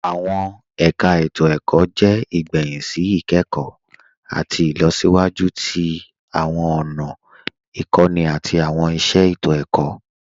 Awọn ẹ̀kà ètò-ẹ̀kọ̀ jẹ́ igbẹ̀hìn sí ikẹkọ̀ àti ilọ̀síwájú tí awọn ọ̀nà ikọ̀nì àti awọn iṣẹ ètò-ẹ̀kọ̀.